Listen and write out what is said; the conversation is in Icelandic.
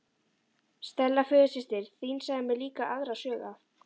Stella föðursystir þín sagði mér líka aðra sögu af